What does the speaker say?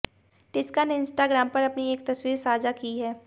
टिस्का ने इंस्टाग्राम पर अपनी एक तस्वीर साझा की है